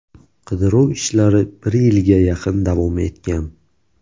Qidiruv ishlari bir yilga yaqin davom etgan.